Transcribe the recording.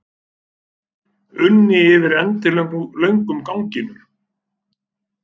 unni yfir endilöngum ganginum.